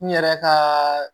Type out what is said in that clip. N yɛrɛ ka